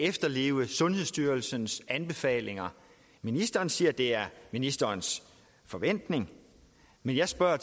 efterleve sundhedsstyrelsens anbefalinger ministeren siger at det er ministerens forventning men jeg spørger